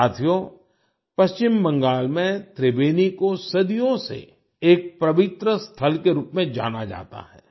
साथियो पश्चिम बंगाल में त्रिबेनी को सदियों से एक पवित्र स्थल के रूप में जाना जाता है